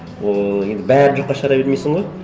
ыыы енді бәрін жоққа шығара бермейсің ғой